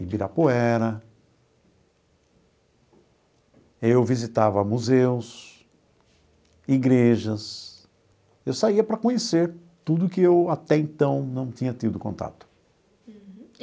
Ibirapuera, eu visitava museus, igrejas, eu saía para conhecer tudo que eu até então não tinha tido contato. Uhum.